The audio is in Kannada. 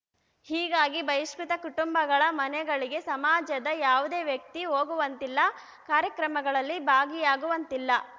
ಹೀಗಾಗಿ ಬಹಿಷ್ಕೃತ ಕುಟುಂಬಗಳ ಮನೆಗಳಿಗೆ ಸಮಾಜದ ಯಾವುದೇ ವ್ಯಕ್ತಿ ಹೋಗುವಂತಿಲ್ಲ ಕಾರ್ಯಕ್ರಮಗಳಲ್ಲಿ ಭಾಗಿಯಾಗುವಂತಿಲ್ಲ